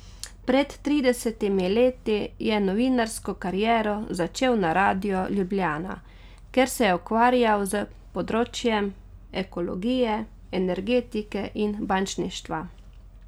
Pred tridesetimi leti je novinarsko kariero začel na radiu Ljubljana, kjer se je ukvarjal s področjem ekologije, energetike in bančništva.